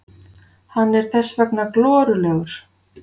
Hann er þess vegna glorulegur.